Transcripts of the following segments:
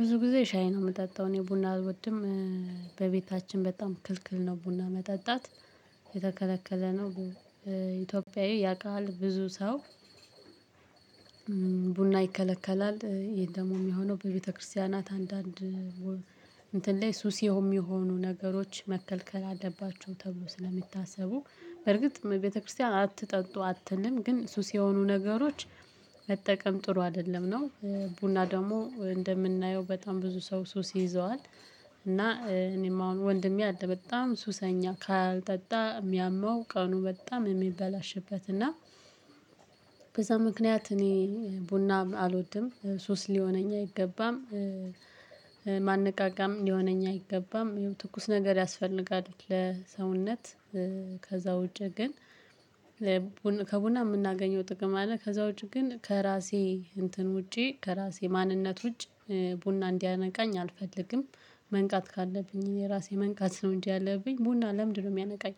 ብዙ ጊዜ ሻይ ነው የምጠጣው እኔ ቡና አልወድም። በቤታችን በጣም ክልክል ነው ቡና መጠጣት የተከለከለ ነው። ኢትዮጵያዊ ያውቃል ብዙ ሰው ቡና ይከለከላል ይሄን ደግሞ የሚሆነው በቤተክርስቲያናት አንዳንድ እንትን ላይ ሱስ የሚሆኑ ነገሮች መከልከል አለባቸው ተብሎ ስለሚታሰቡ በርግጥ ቤተክርስቲያን አትጠጡ አትልም ግን ሱስ የሆኑ ነገሮች መጠቀም ጥሩ አይደለም ነው። ቡና ደግሞ እንደምናየው በጣም ብዙ ሰው ሱስ ይይዘዋል እና እኔም አሁን ወንድሜ አለ በጣም ሱሰኛ ካልጠጣ የሚያመው ቀኑ በጣም የሚበላሽበት፤ እና በዛ ምክንያት እኔ ቡና አልወድም። ሱስ ሊሆነኝ አይገባም። ማነቃቂያም ሊሆነኝ አይገባም ትኩስ ነገር ያስፈልጋል ለሰውነት ከዛ ውጪ ግን ከቡና የምናገኘው ጥቅም አለ። ከዛ ውጪ ግን ከራሴ እንትን ውጪ ከራሴ ማንነት ውጪ ቡና እንዲያነቃኝ አልፈልግም። መንቃት ካለብኝ የራሴ መንቃት ነው እንጂ ያለብኝ ቡና ለምንድን ነው የሚያነቃኝ?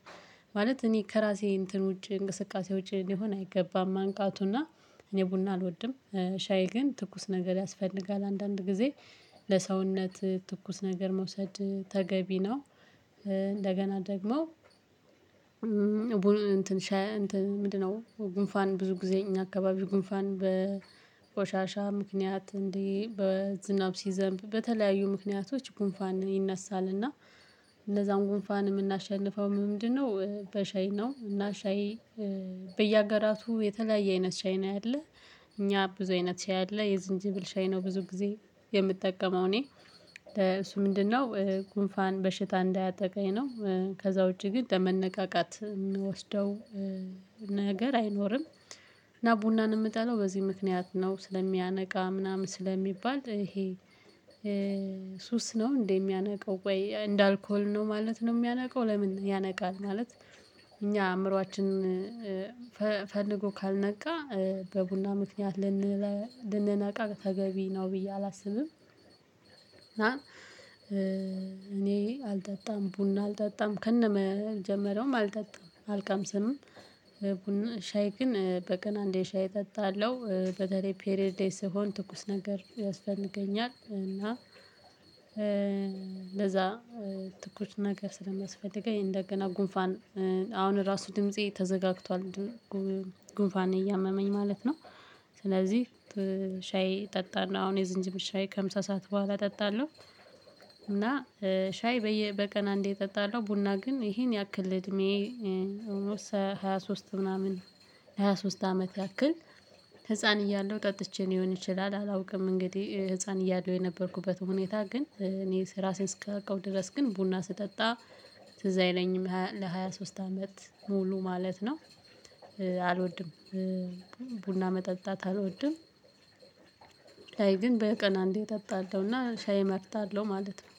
ማለት እኔ ከራሴ እንትን ውጪ እንቅስቃሴ ውጪ ሊሆነ አይገባም መቃቱና እኔ ቡና አልወድም። ሻይ ግን ትኩስ ነገር ያስፈልጋል አንዳንድ ጊዜ ለሰውነት ትኩስ ነገር መውሰድ ተገቢ ነው። እንደገና ደግሞ ቡን እንትን ሻይ እንትን ምንድነው ጉንፋን ብዙ ጊዜ እኛ አካባቢ ጉንፋን በቆሻሻ ምክንያት እንዲ በዝናብ ሲዘንብ በተለያዩ ምክንያቶች ጉንፋን ይነሳል እና ለዛም ጉንፋን የምናሸንፈው በምንድነው በሻይ ነው እና ሻይ በየሀገራቱ የተለያየ አይነት ሻይ ነው ያለ። እኛ ብዙ አይነት ሻይ አለ የዝንጅብል ሻይ ነው ብዙ ጊዜ የምጠቀመው እኔ። እሱ ምንድነው ጉንፋን በሽታ እንዳያጠቃኝ ነው። ከዛ ውጪ ግን ለመነቃቃት የምወስደው ነገር አይኖርም፤ እና ቡናን የምጠለው በዚህ ምክንያት ነው ስለሚያነቃ ምናምን ስለሚባል ይሄ ሱስ ነው እንዴ የሚያነቃው ወይ እንደ አልኮል ነው ማለት ነው የሚያነቀው። ለምን ያነቃል? ማለት እኛ አእምሮአችን ፈልጎ ካልነቃ በቡና ምክንያት ልንነ ልንነቃ ተገቢ ነው ብዬ አላስብም። እና እኔ አልጠጣም ቡና አልጠጣም ከነመጀመሪያውም አልጠጣም። አልቀምስም ቡና ሻይ ግን በቀን አንዴ ሻይ እጠጣለሁ። በተለይ ፔሬድ ላይ ስሆን ትኩስ ነገር ያስፈልገኛል፤ እና ለዛ ትኩስ ነገር ስለሚያስፈልገኝ እንደገና ጉንፋን አሁን እራሱ ድምፄ ተዘጋግቷል። ጉንፋን እያመመኝ ማለት ነው ስለዚህ ሻይ እጠጣለሁ አሁን የዝንጅብል ሻይ ከምሳ ሰዓት በኋላ እጠጣለሁ እና ሻይ በየ በቀን አንዴ እጠጣለሁ ቡና ግን ይሄን ያክል እድሜዬ ሃያ ሶስት ምናምን ሃያ ሶስት አመት ያክል ህፃን እያለሁ ጠጥቼ ሊሆን ይችላል አላውቅም እንግዲህ ህፃን እያለሁ የነበርኩበትን ሁኔታ ግን እኔ እራሴን እስካውቀው ድረስ ግን ቡና ስጠጣ ትዝ አይለኝም ሃያ ለሃያ ሶስት አመት ሙሉ ማለት ነው። አልወድም ቡና መጠጣት አልወድም። ላይ ግን በቀን አንዴ እጠጣለሁና ሻይ እመርጣለሁ ማለት ነው።